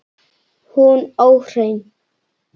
Hún óhrein.